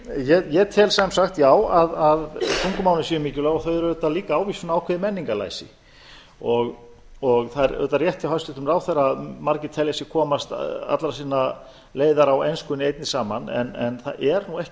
ég tel sem sagt já að tungumálin séu mikilvæg þau eru auðvitað líka ávísun á ákveðið menningarlæsi það er auðvitað rétt hjá hæstvirtum ráðherra að margir telja sig komast allra sinna leiðar á enskunni einni saman en það er nú ekki